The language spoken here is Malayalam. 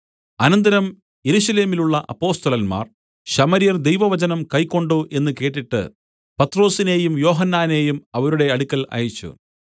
അനന്തരം യെരൂശലേമിലുള്ള അപ്പൊസ്തലന്മാർ ശമര്യർ ദൈവവചനം കൈക്കൊണ്ടു എന്നു കേട്ടിട്ട് പത്രൊസിനെയും യോഹന്നാനെയും അവരുടെ അടുക്കൽ അയച്ചു